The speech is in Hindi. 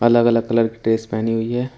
अलग अलग कलर की ड्रेस पहनी हुई है।